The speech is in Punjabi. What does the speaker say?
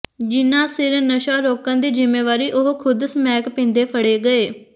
ਜਿਨਾਂ ਸਿਰ ਨਸ਼ਾ ਰੋਕਣ ਦੀ ਜ਼ਿੰਮੇਵਾਰੀ ਉਹ ਖੁਦ ਸਮੈਕ ਪੀਂਦੇ ਫੜੇ ਗਏ